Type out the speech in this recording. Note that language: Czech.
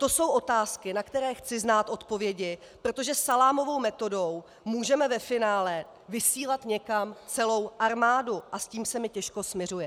To jsou otázky, na které chci znát odpovědi, protože salámovou metodou můžeme ve finále vysílat někam celou armádu a s tím se mi těžko smiřuje.